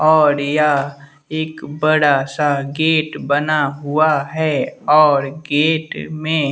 और यह एक बड़ा सा गेट बना हुआ है और गेट में--